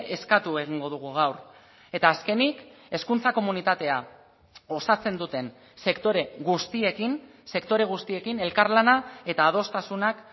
eskatu egingo dugu gaur eta azkenik hezkuntza komunitatea osatzen duten sektore guztiekin sektore guztiekin elkarlana eta adostasunak